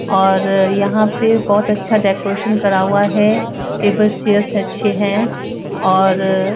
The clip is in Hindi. और यहां पे बहोत अच्छा डेकोरेशन करा हुआ है टेबल चेयर्स् अच्छे हैं और --